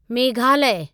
Meghalaya